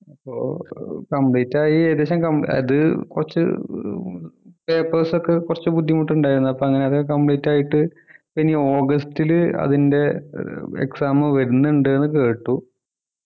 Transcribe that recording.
അപ്പോ ഏർ Complete ആയി ഏകദേശം കം അത് കുറച്ചു ഏർ papers ഒക്കെ കുറച്ച് ബുദ്ധിമുട്ട് ഉണ്ടായിരുന്നു അപ്പൊ അങ്ങനെ അത് Complete ആയിട്ട് ഇനി ഓഗസ്റ്റിൽ അതിൻ്റെ ഏർ exam വരുന്നുണ്ട് ന്ന് കേട്ടു